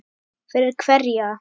Fyrir hverja